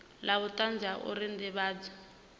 la vhutanzi la uri ndivhadzo